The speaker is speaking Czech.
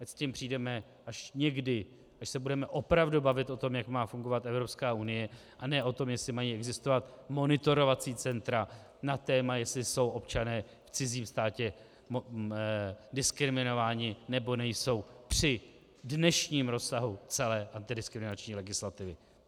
Ať s tím přijdeme až někdy, až se budeme opravdu bavit o tom, jak má fungovat Evropská unie, a ne o tom, jestli mají existovat monitorovací centra na téma, jestli jsou občané v cizím státě diskriminováni, nebo nejsou při dnešním rozsahu celé antidiskriminační legislativy.